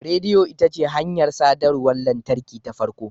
Rediyo ita ce hanyar sadarwar lantarki ta farko.